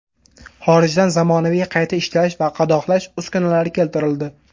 Xorijdan zamonaviy qayta ishlash va qadoqlash uskunalari keltirildi.